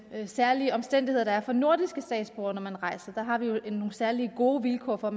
særlige omstændigheder der er for nordiske statsborgere når man rejser der har vi jo nogle særlig gode vilkår for